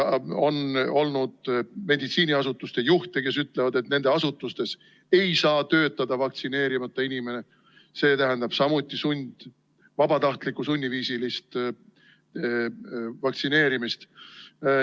On olnud meditsiiniasutuste juhte, kes ütlevad, et nende asutustes ei saa töötada vaktsineerimata inimene, see tähendab samuti vabatahtlikku sunniviisilist vaktsineerimist.